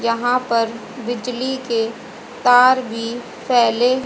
यहां पर बिजली के तार भी फैले--